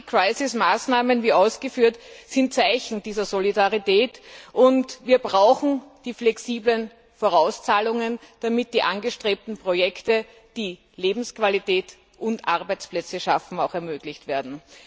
Krisenbekämpfungsmaßnahmen, wie ausgeführt, sind Zeichen dieser Solidarität, und wir brauchen die flexiblen Vorauszahlungen, damit die angestrebten Projekte, die Lebensqualität und Arbeitsplätze schaffen, auch ermöglicht werden.